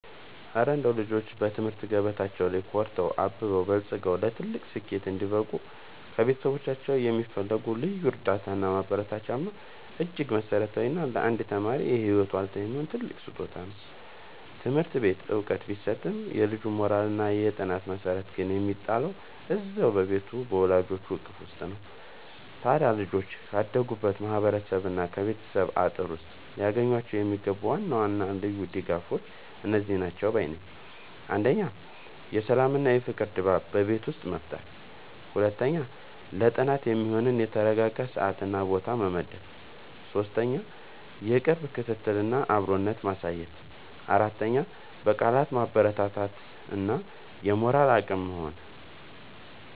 እረ እንደው ልጆች በትምህርት ገበታቸው ላይ ኮርተው፣ አብበውና በልጽገው ለትልቅ ስኬት እንዲበቁ ከቤተሰቦቻቸው የሚፈልጉት ልዩ እርዳታና ማበረታቻማ እጅግ መሠረታዊና ለአንድ ተማሪ የህይወት ዋልታ የሚሆን ትልቅ ስጦታ ነው! ትምህርት ቤት ዕውቀት ቢሰጥም፣ የልጁ የሞራልና የጥናት መሠረት ግን የሚጣለው እዚያው በቤቱ በወላጆቹ እቅፍ ውስጥ ነው። ታዲያ ልጆች ካደጉበት ማህበረሰብና ከቤተሰብ አጥር ውስጥ ሊያገኟቸው የሚገቡ ዋና ዋና ልዩ ድጋፎች እነዚህ ናቸው ባይ ነኝ፦ 1. የሰላምና የፍቅር ድባብ በቤት ውስጥ መፍጠር 2. ለጥናት የሚሆን የተረጋጋ ሰዓትና ቦታ መመደብ 3. የቅርብ ክትትልና አብሮነት ማሳየት 4. በቃላት ማበረታታት እና የሞራል አቅም መሆን